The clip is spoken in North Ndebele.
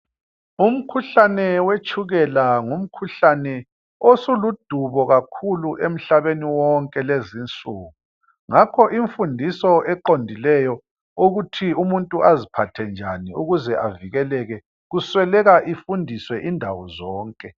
Umkhuhlane wetshukela ngumkhuhlane osuludubo kakhulu emhlabeni wonke lezinsuku ngakho imfundiso eqodileyo ukuthi umuntu aziphathe njani ukuze avikeleke kusweleka ifundiswe indawo zonke